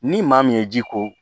Ni maa min ye ji ko